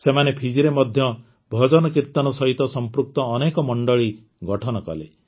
ସେମାନେ ଫିଜିରେ ମଧ୍ୟରେ ଭଜନକୀର୍ତ୍ତନ ସହିତ ସଂପୃକ୍ତ ଅନେକ ମଣ୍ଡଳୀ ଗଠନ କଲେ